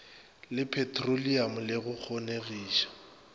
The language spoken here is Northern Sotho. le petroliamo le go kgonegiša